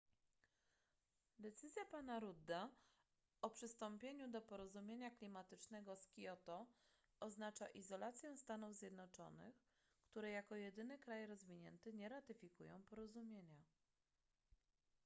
decyzja pana rudda o przystąpieniu do porozumienia klimatycznego z kioto oznacza izolację stanów zjednoczonych które jako jedyny kraj rozwinięty nie ratyfikują porozumienia